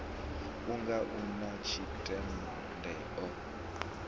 unga u na tshitunde o